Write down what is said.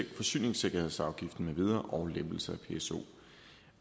forsyningssikkerhedsafgiften med videre og lempelser